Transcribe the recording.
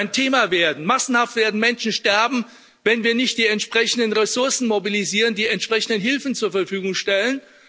Hunger wird ein Thema werden, massenhaft werden Menschen sterben, wenn wir nicht die entsprechenden Ressourcen mobilisieren, die entsprechende Hilfen zur Verfügung stellen.